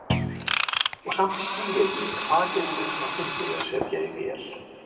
Og samt skil ég ekki hvað getur verið svona fyndið við að setja í vél.